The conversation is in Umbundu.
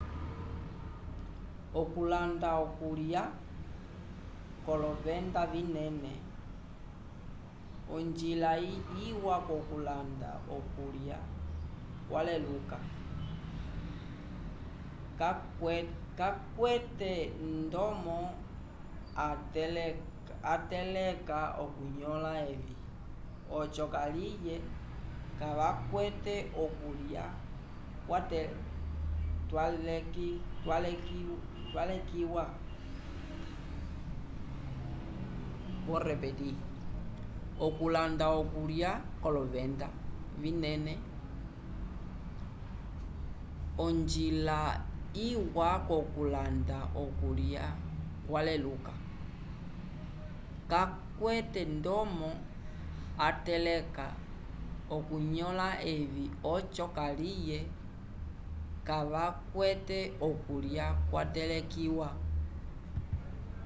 okulanda okulya k'olovenda vinene onjila iwa yokulanda okulya kwaleluka kakwete ndomo ateleka okunõla evi oco kaliye kavakwete okulya kwatelekiwa